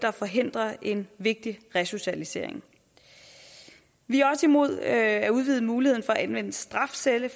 og forhindre en vigtig resocialisering vi er også imod at udvide muligheden for at anvende strafcelle i